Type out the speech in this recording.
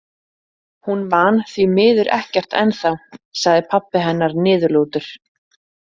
Hún man þvi miður ekkert ennþá, sagði pabbi hennar niðurlútur.